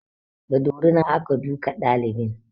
Da dorina aka duka ɗalibin